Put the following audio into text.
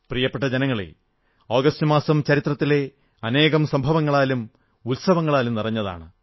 പ്രിയപ്പെട്ട ജനങ്ങളേ ആഗസ്റ്റ് മാസം ചരിത്രത്തിലെ അനേകം സംഭവങ്ങളാലും ഉത്സവങ്ങളാലും നിറഞ്ഞതാണ്